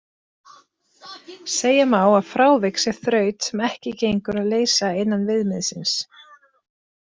Segja má að frávik sé þraut sem ekki gengur að leysa innan viðmiðsins.